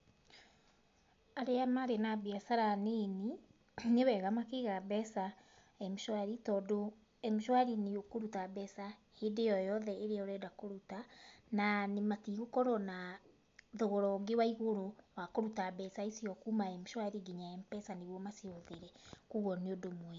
Arĩa marĩ na mbiacara nini, nĩ wega makĩiga mbeca M-shwari, tondũ M-shwari nĩ ũkũruta mbeca hĩndĩ o yothe ĩrĩa ũrenda kũruta, na matigũkorwo na thogora ũngĩ wa igũrũ wa kũruta mbeca icio kuma M-shwari nginya Mpesa nĩgwo macihũthĩre koguo nĩ ũndũ mwega.